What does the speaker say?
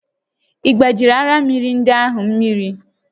Ị gbajiri arịa mmịrị ndị ahụ mmiri?